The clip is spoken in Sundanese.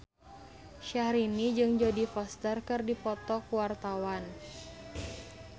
Syahrini jeung Jodie Foster keur dipoto ku wartawan